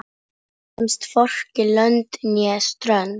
Kemst hvorki lönd né strönd.